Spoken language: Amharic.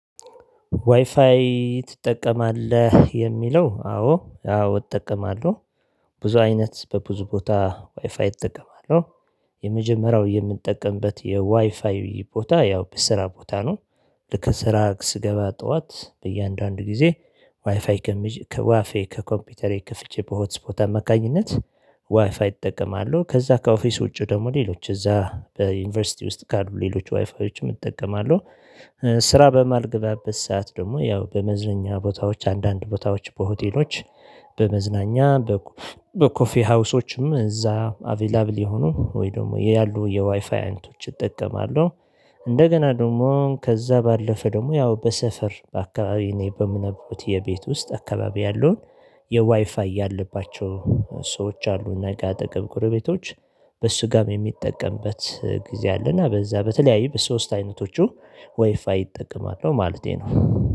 ዋይፋይ ትጠቀማለህ የሚለው አዎ አዎ እጠቀማለሁ ብዙ አይነት በብዙ ቦታ ዋይፋይ እጠቀማለሁ። የመጀመሪያው የምጠቀምበት የዋይፋይ ቦታ ያው በስራ ቦታ ነው። ልክ ስራ ስገባ ጠዋት በእያንዳንዱ ጊዜ ዋይፋይ ከኮምፒውተሬ ከፍቼ በሆት ስፖት አመካኝነት ዋይፋይ እጠቀማለሁ። ከዛ ከኦፊስ ውጪ ደግሞ ሌሎች እዛ በዩኒቨርሲቲ ውስጥ ካሉ ሌሎች ዋይፋዮችም እጠቀማለሁ። ስራ በማልገበበት ሰዓት ደግሞ ያው በመዝናኛ ቦታዎች አንዳንድ ቦታዎች በሆቴሎች በመዝናኛ በኮፊ ሀውሶችም እዛ አቬላብል የሆኑ ወይ ደግሞ ያሉ የዋይፋይ አይነቶች እጠቀማለሁ። እንደገና ደግሞ ከዛ ባለፈ ደግሞ ያው በሰፈር በአካባቢው እኔ በምኖርበት የቤት ውስጥ አካባቢ ያለውን የዋይፋይ ያለባቸው ሰዎች አሉና እኛ ጋር አጠገብ ጎረቤቶች በሱጋም የምጠቀምበት ጊዜ አለና በዛ በተለያዩ በሶስት አይነቶቹ ወይፋይ እጠቀማለሁ ማለቴ ነው